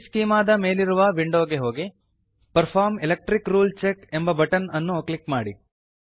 perform electric rule check perform electric rule check ಎಂಬ button ಅನ್ನು click ಮಾಡಿ